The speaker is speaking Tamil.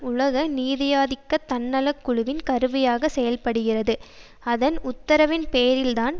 உலக நீதியாதிக்க தன்னலக்குழுவின் கருவியாக செயல்படுகிறது அதன் உத்தரவின்பேரில்தான்